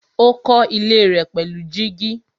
Ó kọ́ ilé rẹ̀ pẹ̀lú gíjí.